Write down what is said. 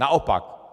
Naopak.